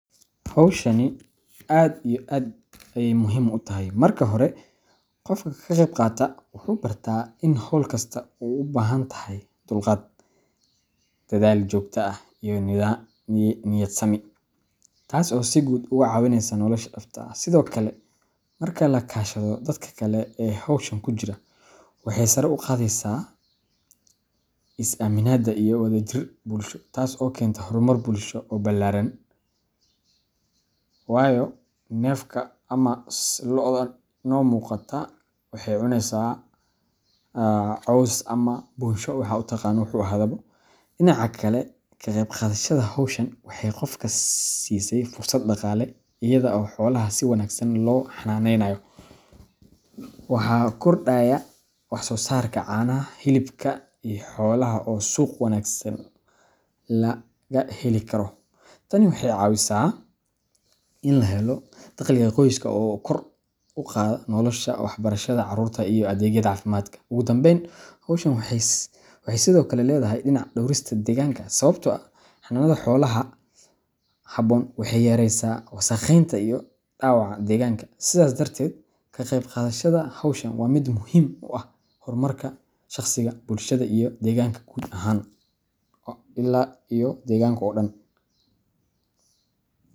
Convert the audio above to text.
Howshani aad iyo aad ayey muhim u tahay , Marka hore, Qofka ka qayb qaata wuu bartaa in hawl kasta u baahan tahay dulqaad, dadaal joogto ah, iyo niyadsami, taas oo si guud uga caawinaysa nolosha dhabta ah. Sidoo kale, marka la kaashado dadka kale ee hawshan ku jira, waxay sare u qaadaysaa is-aaminaadda iyo wadajirka bulshada, taas oo keenta horumar bulsho oo ballaaran, wayo defka ama locda ino muqata waxey cunaysa caws ama bunsha waxad u taqana wuxu ahadhaba. Dhinaca kale, ka qayb qaadashada hawshan waxay qofka siisay fursad dhaqaale. Iyada oo xoolaha si wanaagsan loo xanaaneeyo, waxaa kordhaya wax-soosaarka caanaha, hilibka, iyo xoolo kale oo suuq wanaagsan laga heli karo. Tani waxay caawisaa in la helo dakhliga qoyska kor u qaada noloshooda, waxbarashada carruurta, iyo adeegyada caafimaadka. Ugu dambayn, hawshan waxay sidoo kale leedahay dhinac dhowrista deegaanka, sababtoo ah xanaanada xoolaha haboon waxay yareysaa wasakheynta iyo dhaawaca deegaanka. Sidaas darteed, ka qayb qaadashada hawshan waa mid muhiim u ah horumarka shaqsiga, bulshada, iyo deegaanka guud ahaan ila iyo deganka oo dhan.